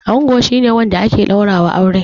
Ango shi ne wanda ake ɗaura wa aure